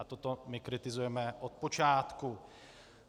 A toto my kritizujeme od počátku.